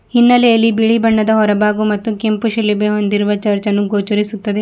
ಹಿನ್ನೆಲೆಯಲ್ಲಿ ಬಿಳಿ ಬಣ್ಣದ ಹೊರಭಾಗು ಮತ್ತು ಕೆಂಪು ಶಿಲುಬೆ ಹೊಂದಿರುವ ಚರ್ಚನ್ನು ಗೋಚರಿಸುತ್ತದೆ.